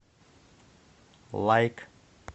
лайк